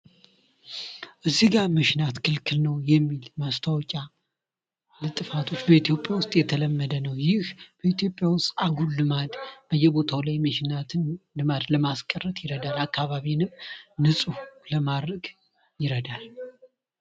እዚህ ጋር መሽናት ክልክል ነው የሚል ማስታወቂያ ልጥፋቶች በኢትዮጵያ የተለመደ ነው። ይህ በኢትዮጵያ ውስጥ አጉል ልማድ ለማስቀረት ይረዳል። አካባቢንም ንጹህ ለማድረግ ይረዳል።